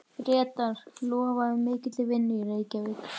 Bretar lofuðu mikilli vinnu í Reykjavík.